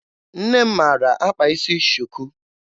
Nne m maara akpa isi shuku.